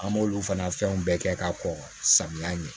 An b'olu fana fɛnw bɛɛ kɛ ka kɔn samiya ɲɛ